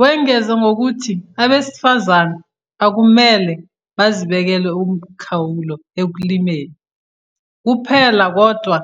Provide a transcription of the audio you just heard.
Wongeze ngokuthi abesifazane akumele bazibekele umkhawulo ekulimeni kuphela kodwa